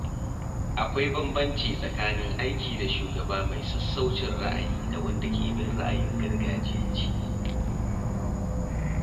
Akwai bambanci tsakanin aiki da shugaba mai sassaucin ra’ayi da wanda ke bin ra'ayin gargajiyanci.